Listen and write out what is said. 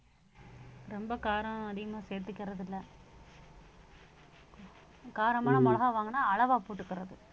ரொம்ப காரம் அதிகமா சேர்த்துக்கிறது இல்லை காரமான மிளகாய் வாங்கினா அளவா போட்டுக்கிறது